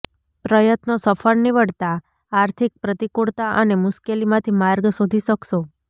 પ્રયત્નો સફળ નીવડતાં આર્થિક પ્રતિકૂળતા અને મુશ્કેલીમાંથી માર્ગ શોધી શકશો